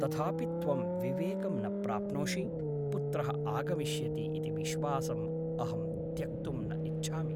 तथापि त्वं विवेकं न प्राप्नोषि पुत्रः आगमिष्यति इति विश्वासम् अहं त्यक्तुं न इच्छामि ।